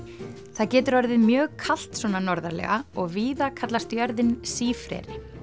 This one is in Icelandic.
það getur orðið mjög kalt svona norðarlega og víða kallast jörðin sífreri